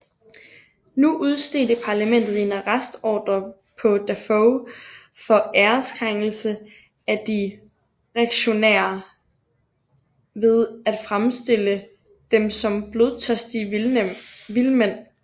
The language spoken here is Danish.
Nu udstedte Parlamentet en arrestordre på Defoe for ærekrænkelse af de reaktionære ved at fremstille dem som blodtørstige vildmænd